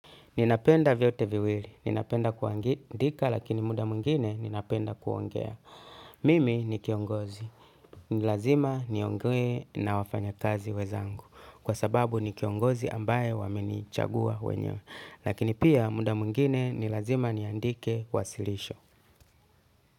Ninapenda vyote viwili. Ninapenda kuandika lakini muda mwingine ninapenda kuongea. Mimi ni kiongozi. Ni lazima niongee na wafanyakazi wenzangu. Kwa sababu ni kiongozi ambaye wamenichagua wenyewe. Lakini pia muda mungine nilazima niandike wasilisho.